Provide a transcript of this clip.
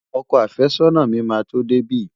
Ọkọ àfẹ́sọ́nà mi máa tó dé bí.